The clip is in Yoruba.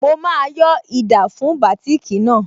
Mo máa yọ́ ida fún bátìkì náà